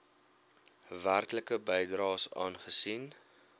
werklike bydraes aangesien